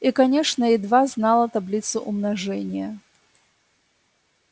и конечно едва знала таблицу умножения